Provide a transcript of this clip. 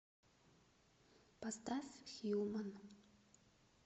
поставь хьюман